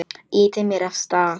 Ýtir mér af stað.